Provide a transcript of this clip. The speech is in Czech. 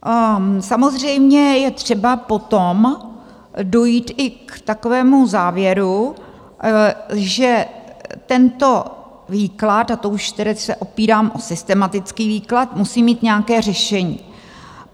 Samozřejmě je třeba potom dojít i k takovému závěru, že tento výklad, a to už tedy se opírám o systematický výklad, musí mít nějaké řešení.